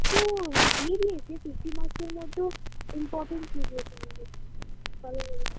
ও দিয়ে দিয়েছে Fifty marks -এর মধ্যেও Important দিয়ে দিয়েছে আমাদের